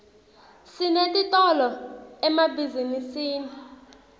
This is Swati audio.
sinetitolo emabhizinisini